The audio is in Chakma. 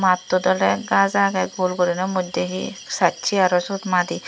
mattot ole gaj age gul gurine modde he sacche aro siot madi.